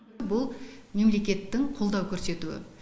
бұл мемлекеттің қолдау көрсетуі